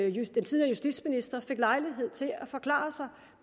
justitsminister fik lejlighed til at forklare sig